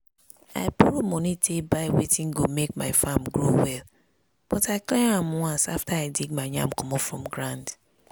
i borrow money take buy wetin go make my farm grow well but i clear am once after i dig my yam comot from ground.